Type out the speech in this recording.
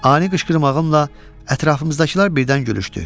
Ani qışqırmağımla ətrafımızdakılar birdən gülüşdü.